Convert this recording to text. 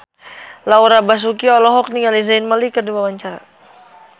Laura Basuki olohok ningali Zayn Malik keur diwawancara